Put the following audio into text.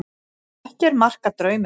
Ekki er mark að draumum.